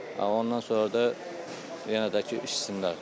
Ondan sonra da yenə də ki, içsinlər.